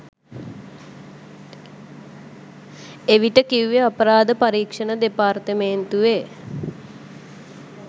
එවිට කිව්වේ අපරාධ පරීක්ෂණ දෙපාර්තමේන්තුවේ